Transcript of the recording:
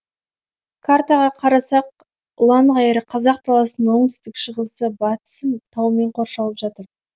картаға қарасақ ұлаң ғайыр қазақ даласының оңтүстік шығысы батысы таумен қоршалып жатыр